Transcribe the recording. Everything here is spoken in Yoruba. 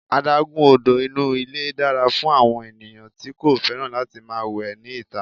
Adágún odò inú ilé dára fún àwọn ènìyàn tí kò fẹ́ràn láti máa wẹ ní ìta.